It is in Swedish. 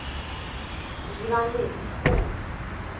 Ivan Lindskog